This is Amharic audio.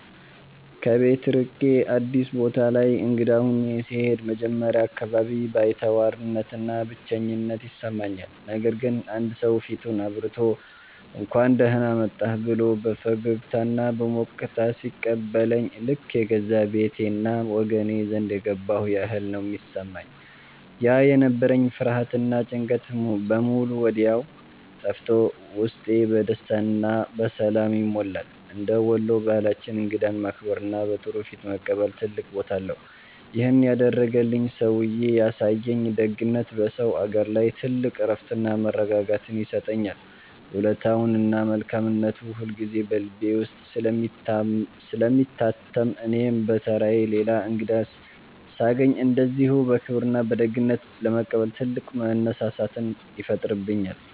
ከቤት ርቄ አዲስ ቦታ ላይ እንግዳ ሆኜ ስሄድ መጀመሪያ አካባቢ ባይተዋርነትና ብቸኝነት ይሰማኛል። ነገር ግን አንድ ሰው ፊቱን አብርቶ፣ «እንኳን ደህና መጣህ» ብሎ በፈገግታና በሞቅታ ሲቀበለኝ ልክ የገዛ ቤቴና ወገኔ ዘንድ የገባሁ ያህል ነው የሚሰማኝ። ያ የነበረኝ ፍርሃትና ጭንቀት በሙሉ ወዲያው ጠፍቶ ውስጤ በደስታና በሰላም ይሞላል። እንደ ወሎ ባህላችን እንግዳን ማክበርና በጥሩ ፊት መቀበል ትልቅ ቦታ አለው። ይሄን ያደረገልኝ ሰውዬ ያሳየኝ ደግነት በሰው አገር ላይ ትልቅ እረፍትና መረጋጋትን ይሰጠኛል። ውለታውና መልካምነቱ ሁልጊዜ በልቤ ውስጥ ስለሚታተም እኔም በተራዬ ሌላ እንግዳ ሳገኝ እንደዚሁ በክብርና በደግነት ለመቀበል ትልቅ መነሳሳትን ይፈጥርብኛል።